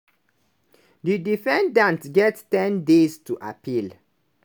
di defendants get ten days to appeal.